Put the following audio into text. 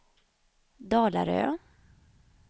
Dalarö